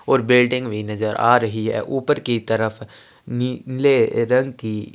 और बिल्डिंग भी नजर आ रही है ऊपर की तरफ नीले रंग की--